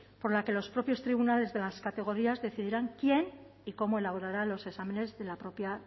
por la que los propios tribunales de las categorías decidirán quién y cómo elaborarán los exámenes de la propia